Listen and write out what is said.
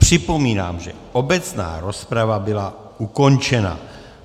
Připomínám, že obecná rozprava byla ukončena.